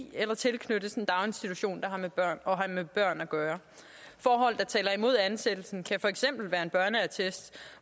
i eller tilknyttes en daginstitution og have med børn at gøre forhold der taler imod ansættelsen kan for eksempel være en børneattest